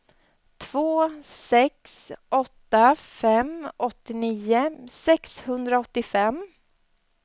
två sex åtta fem åttionio sexhundraåttiofem